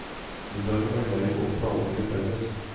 Middagen er grei å planlegge felles.